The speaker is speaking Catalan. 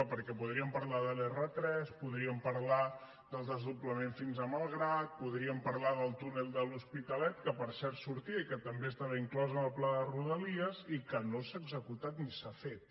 perquè podríem parlar de l’r3 podríem parlar del desdoblament fins a malgrat podríem parlar del túnel de l’hospitalet que per cert sortia i que també estava inclòs en el pla de rodalies i que no s’ha executat ni s’ha fet